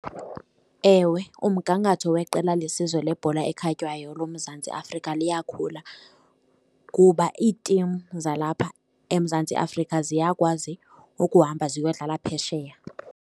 Ewe, umgangatho weqela lesizwe lebhola ekhatywayo loMzantsi Afrika liyakhula kuba iitimu zalapha eMzantsi Afrika ziyakwazi ukuhamba ziyodlala phesheya.